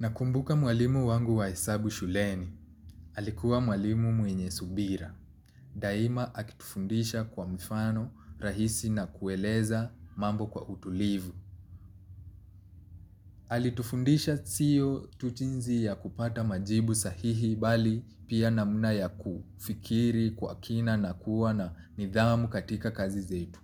Nakumbuka mwalimu wangu wa hesabu shuleni. Alikuwa mwalimu mwenye subira. Daima akitufundisha kwa mfano rahisi na kueleza mambo kwa utulivu. Alitufundisha sio tu jinzi ya kupata majibu sahihi bali pia namna ya kufikiri kwa kina na kuwa na nidhamu katika kazi zetu.